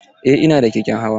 Eh ina da keken hawa.